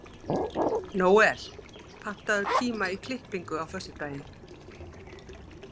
Nóel, pantaðu tíma í klippingu á föstudaginn.